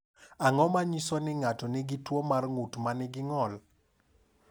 Ang’o ma nyiso ni ng’ato nigi tuwo mar ng’ut ma nigi ng’ol?